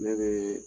Ne bɛ